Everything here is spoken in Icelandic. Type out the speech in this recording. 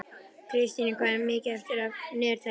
Kristína, hvað er mikið eftir af niðurteljaranum?